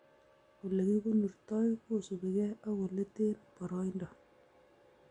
Olekikonortoi kosubigei ak oletee boroindo